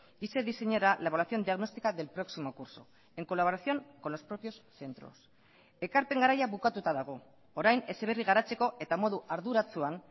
y se diseñará la evaluación diagnóstica del próximo curso en colaboración con los propios centros ekarpen garaia bukatuta dago orain heziberri garatzeko eta modu arduratsuan